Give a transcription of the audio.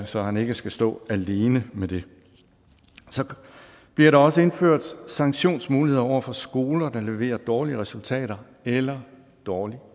så han ikke skal stå alene med det så bliver der også indført sanktionsmuligheder over for skoler der leverer dårlige resultater eller dårlig